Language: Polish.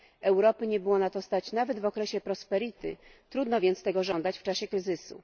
Europy nie było na to stać nawet w okresie prosperity, trudno więc tego żądać w czasie kryzysu.